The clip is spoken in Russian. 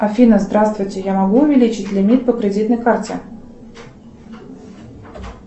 афина здравствуйте я могу увеличить лимит по кредитной карте